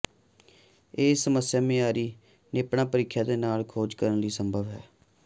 ਇਹ ਸਮੱਸਿਆ ਮਿਆਰੀ ਿਣੇਪਾ ਪ੍ਰੀਖਿਆ ਦੇ ਨਾਲ ਖੋਜ ਕਰਨ ਲਈ ਸੰਭਵ ਹੈ